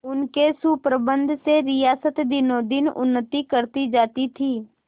उनके सुप्रबंध से रियासत दिनोंदिन उन्नति करती जाती थी